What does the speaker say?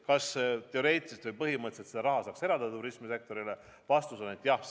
Kas teoreetiliselt või põhimõtteliselt seda raha saaks töötukassast turismisektorile eraldada?